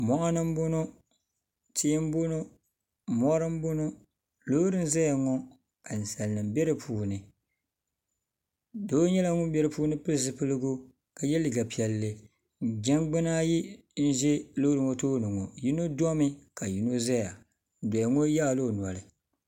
mɔɣini m-bɔŋɔ tihi m-bɔŋɔ mɔri m-bɔŋɔ loori zaya ŋɔ ka ninsalinima be di puuni doo nyɛla ŋun be di puuni ka pili zupiligu ka ye liiga piɛlli jangbuna ayi n-ʒi loori ŋɔ tooni ŋɔ yino domi ka yino zaya gbuɣ' yino yaai la o noli.